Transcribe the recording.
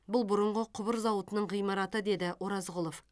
бұл бұрынғы құбыр зауытының ғимараты деді оразғұлов